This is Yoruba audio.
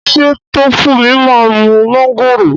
Ṣé Tófúnmi má ń mu mángòrò?